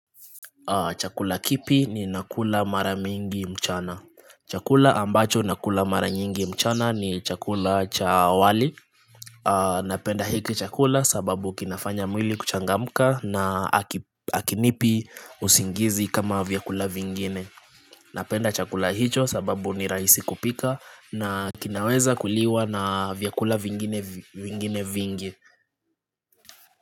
Chakula kipi ni nakula mara mingi mchana. Chakula ambacho nakula mara mingi mchana ni chakula cha wali. Napenda hiki chakula sababu kinafanya mwili kuchangamka na akinipi usingizi kama vyakula vingine. Napenda chakula hicho sababu ni rahisi kupika na kinaweza kuliwa na vyakula vingine vingine vingi.